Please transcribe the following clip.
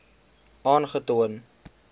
aangetoon